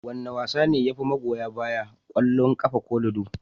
Wane wasa ne yafi magoya baya, kwallon kafa ko lido?